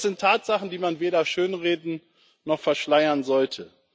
Das sind Tatsachen, die man weder schönreden noch verschleiern sollte.